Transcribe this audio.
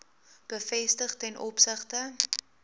bevestiging ten opsigte